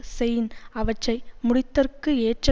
chain அவற்றை முடித்தற்கு ஏற்ற